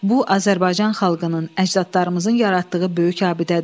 Bu Azərbaycan xalqının, əcdadlarımızın yaratdığı böyük abidədir.